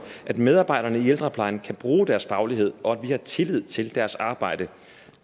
at medarbejderne i ældreplejen kan bruge deres faglighed og at vi har tillid til deres arbejde